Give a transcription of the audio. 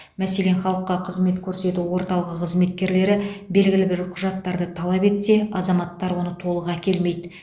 мәселен халыққа қызмет көрсету орталығы қызметкерлері белгілі бір құжаттарды талап етсе азаматтар оны толық әкелмейді